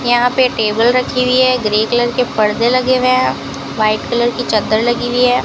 यहां पे टेबल रखी हुई है ग्रे कलर के पर्दे लगे हुए हैं व्हाइट कलर की चद्दर लगी हुई है।